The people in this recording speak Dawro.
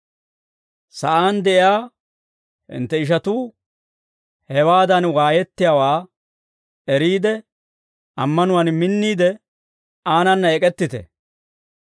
Sa'aan de'iyaa hintte ishatuu hewaadan waayettiyaawaa eriide, ammanuwaan minniide, aanana ek'ettite.